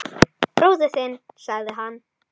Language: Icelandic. Bróðir þinn sagði hann.